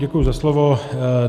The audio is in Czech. Děkuji za slovo.